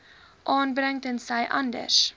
aanbring tensy anders